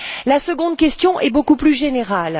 La seconde question est beaucoup plus générale.